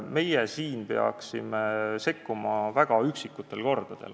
Meie siin peaksime sekkuma väga üksikutel kordadel.